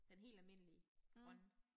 Den helt almindelige grønne